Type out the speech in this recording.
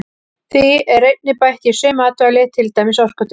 Því er einnig bætt í sum matvæli til dæmis orkudrykki.